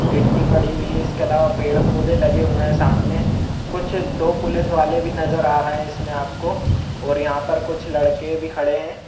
गिट्टी पड़ी हुई है इस के अलवा पेड़ पौधे लगे हुये हैं सामने कुछ दो पुलिस वाले भी नजर आ रहे हैं इस मे आप को और यहाँ पर कुछ लड़के भी खड़े हैं।